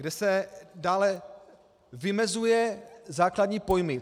Kde se dále vymezují základní pojmy.